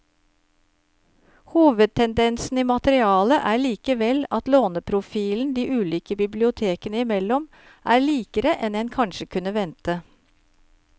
Hovedtendensen i materialet er likevel at låneprofilen de ulike bibliotekene imellom er likere enn en kanskje kunne vente.